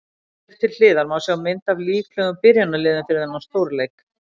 Hér til hliðar má sjá mynd af líklegum byrjunarliðum fyrir þennan stórleik.